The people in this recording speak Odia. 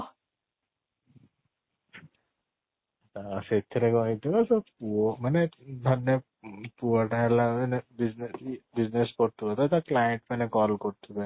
ସେଥିରେ କ'ଣ ହେଇ ଥିବ ସେ ପୁଅ ମାନେ ଧରିନିଅ ପୁଅ ଟା ହେଲା ମାନେ business business କରୁ ଥିବ ତ ତା client ମାନେ call କରୁ ଥିବେ